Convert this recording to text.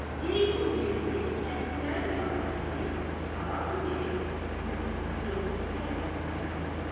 yeyin yeriyib kəndlilərin yanına gəlib salam verib üzünü tutdu Məmmədhəsən əmiyə.